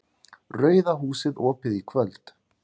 RAUÐA HÚSIÐ OPIÐ Í KVÖLD